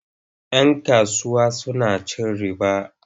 Yan kasuwa suna cin riba.